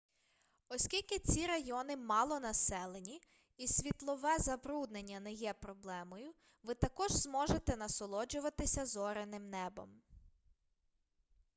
оскільки ці райони малонаселені і світлове забруднення не є проблемою ви також зможете насолоджуватися зоряним небом